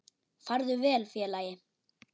Farðu vel félagi.